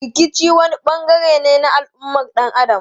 Rikici wani bangare ne na al'ummar dan Adam.